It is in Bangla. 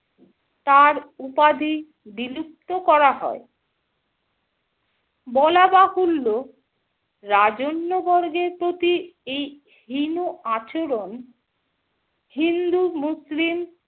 তার উপাধি বিলুপ্ত করা হয় । বলাবাহুল্য রাজন্যবর্গের প্রতি এই হীন আচরণ হিন্দু-মুসলিম